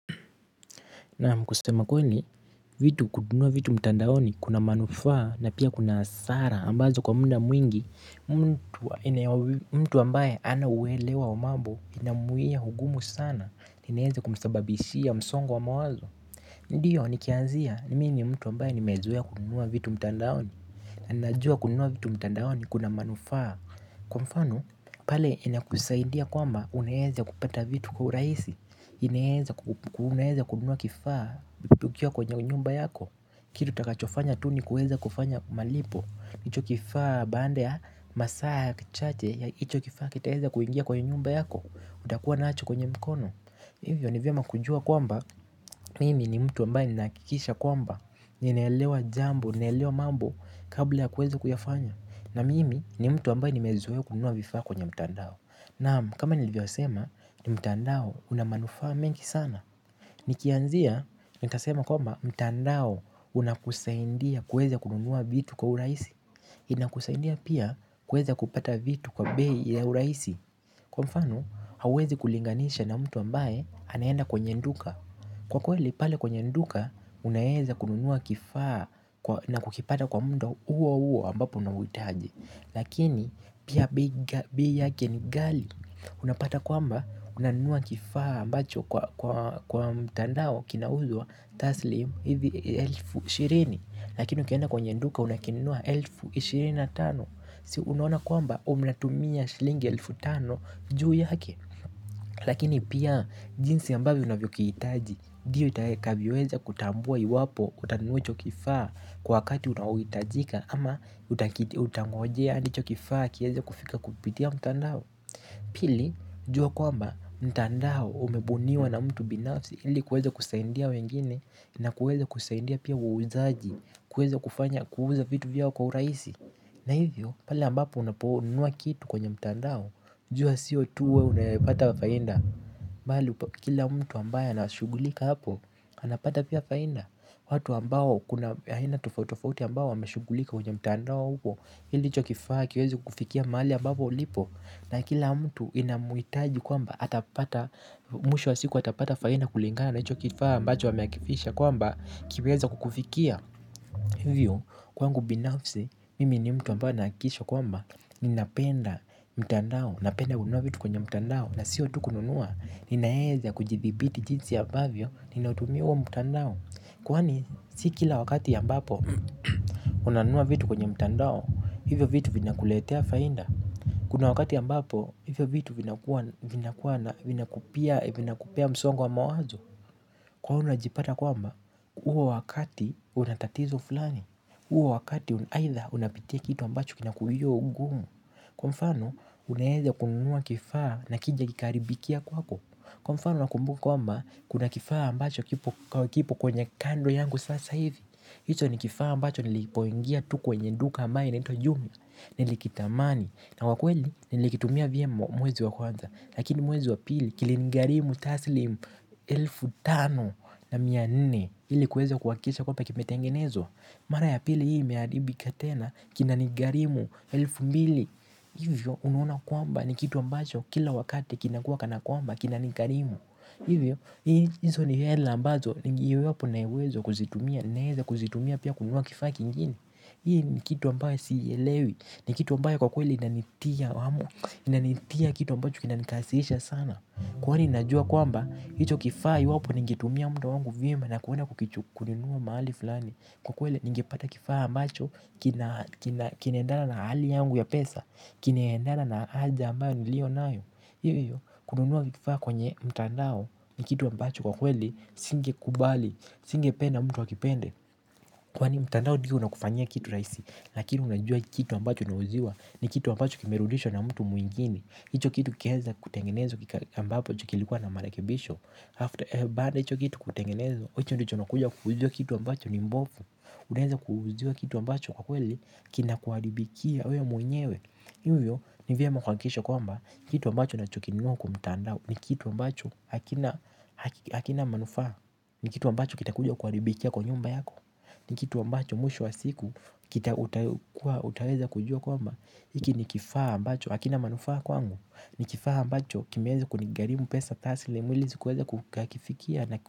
Naam kusema kweli, vitu kununua vitu mtandaoni kuna manufaa na pia kuna hasara ambazo kwa muda mwingi, mtu ambaye ana uelewa wa mambo inamuia hugumu sana, inaeze kumsababishia msongo wa mawazo. Ndiyo nikianzia ni mimi mtu ambaye nimezoea kununua vitu mtandaoni na najua kununua vitu mtandaoni kuna manufaa. Kwa mfano pale ina kusaidia kwamba unaeza kupata vitu kwa urahisi unaeza kununua kifaa ukiwa kwenye nyumba yako. Kitu takachofanya tu ni kuweza kufanya malipo hicho kifaa baanda ya masaa ya kichache ya hicho kifaa kitaweza kuingia kwenye nyumba yako. Utakuwa nacho kwenye mkono. Hivyo ni vyema kujua kwamba mimi ni mtu ambaye nina hakikisha kwamba ninaelewa jambo ninaelewa mambo kabla ya kuweza kuyafanya. Na mimi ni mtu ambaye nimezoea kununua vifaa kwenye mtandao. Naam kama nilio sema ni mtandao una manufaa mengi sana. Nikianzia ni tasema kwamba mtandao unakusaindia kuweza kununua vitu kwa urahisi. Inakusaidia pia kuweze kupata vitu kwa bei ya urahisi. Kwa mfano, hauwezi kulinganisha na mtu ambaye anaenda kwenye duka. Kwa kweli, pale kwenye nduka, unaeza kununua kifaa na kukipata kwa mdo uo huo ambapo unauhitaji. Lakini, pia bei bei yake ni gali. Unapata kwamba, unanunua kifaa ambacho kwa mtandao kinauzwa taslim, hivi elfu ishirini. Lakini, ukienda kwenye nduka, unakinunua elfu ishirini na tano. Si unaona kwamba umlatumia shilingi elfu tano juu yake. Lakini pia jinsi ambavyo unavyo kiitaji diyo itakavyoweza kutambua iwapo utanunua hichokifaa kwa wakati unaohitajika ama utangojea andi hicho kifaa kieze kufika kupitia mtandao pili jua kwamba mtandao umebuniwa na mtu binafsi ili kueze kusaindia wengine na kueza kusaindia pia wauzaji kueza kufanya kuuza vitu vyao kwa urahisi. Na hivyo pale ambapo unaponunua kitu kwenye mtandao. Jua sio tu wewe unayepata fainda bali kila mtu ambayo anashughulika hapo. Anapata pia fainda. Watu ambao kuna aina tofautitofauti ambao wameshugulika kwenye mtandao huo ili hichokifaa kiweze kukufikia mahali ambapo ulipo. Na kila mtu inamuitaji kwamba atapata. Mwisho wa siku atapata fainda kulingana na hichokifaa ambacho wameakifisha kwamba kiweze kukufikia. Hivyo, kwangu binafsi, mimi ni mtu ambaye nahakisho kwamba, ninapenda mtandao, napenda ununua vitu kwenye mtandao, na siyo tukununua, ninaeza kujithibiti jinsi ambavyo, ninaotumiwa mtandao. Kwani, sikila wakati ambapo, unanua vitu kwenye mtandao, hivyo vitu vinakuletea fainda. Kuna wakati ambapo, hivyo vitu vinakuwa na vinakupea msongo wa mawazo. Kwako unajipata kwamba, uo wakati unatatizo fulani. Uo wakati aitha unapitia kitu ambacho kinakuyo ugumu. Kwa mfano, unaeza kununua kifaa na kije kikaharibikia kwako. Kwa mfano, nakumbuka kwamba, kuna kifaa ambacho kipo kwenye kando yangu sasa hizi. Hicho ni kifaa ambacho nilipoingia tu kwenye duka ambaye inaitwa jumia. Nilikitamani, na kwa kweli nilikitumia vyema mwezi wa kwanza. Lakini mwezi wa pili kilini garimu taslimu elfu tano na mia nne ili kuweza kuhakisha kwambw kimetengenezwa mara ya pili hii imeharibika tena. Kina nigarimu elfu mbili. Hivyo unaona kwamba ni kitu ambacho kila wakati kina kuwa kana kwamba kina nigarimu. Hivyo hivyo hizo ni hela ambazo ningeiwapo nauwezo kuzitumia. Naeze kuzitumia pia kununuw kifaa kingine. Hii ni kitu ambayo sielewi. Ni kitu ambayo kwa kweli inanitia hamu inanitia kitu ambacho kina nikasirisha sana kwani najua kwamba hicho kifa iwapo ningetumia muda wangu vyema na kuwenda kukichu kununua mahali flani kwakweli ningepata kifaa ambacho kinaendana na hali yangu ya pesa kinaendana na aja ambayo ni lio nayo iyo iyo kununua kifaa kwenye mtandao ni kitu ambacho kwa kweli singe kubali singe pena mtu akipende kwani mtandao ndiyo unakufanyia kitu rahisi lakini unajua kitu ambacho una uziwa. Ni kitu ambacho kimerudishwa na mtu mwingine. Hicho kitu ukieza kutengenezwa kika ambapo chukilikuwa na marakebisho. Baada hicho kitu kutengenezwa hicho ndicho ukuja kuuziwa kitu ambacho ni mbovu. Unaeza kuuziwa kitu ambacho kwa kweli kina kuharibikia wewe mwenyewe. Ivyo ni vyema kuhakikisha kwamba kitu ambacho nacho kinunua kwamtandao ni kitu ambacho hakina manufaw. Ni kitu ambacho kita kuja kuharibikia kwa nyumba yako. Ni kitu wambacho mwisho wa siku kita utaweza kujua kwamba iki nikifaa ambacho, hakina manufaa kwangu. Nikifaa ambacho kimeweza kunigarimu pesa tasilmu. Mwili sikuweza kukakifikia.